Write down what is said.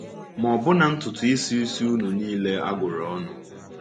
Ma ọbụna ntutuisi isi unu nile a gụrụ ọnụ.